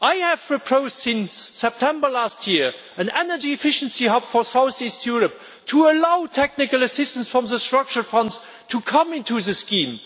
I have proposed since September last year an energy efficiency hub for south east Europe to allow technical assistance from the Structural Funds to come into the scheme.